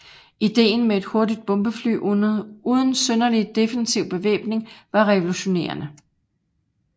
Idéen med et hurtigt bombefly uden synderlig defensiv bevæbning var revolutionerende